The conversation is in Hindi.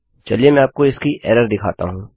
चलिए मैं आपको इसकी एरर दिखाता हूँ